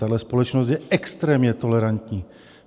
Tahle společnost je extrémně tolerantní.